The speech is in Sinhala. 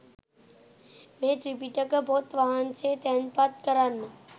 මේ ත්‍රිපිටක පොත් වහන්සේ තැන්පත් කරන්න.